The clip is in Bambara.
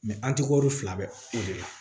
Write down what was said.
an tikoro fila bɛɛ o de la